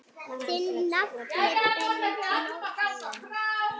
Þinn nafni Benóný.